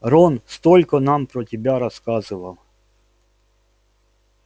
рон столько нам про тебя рассказывал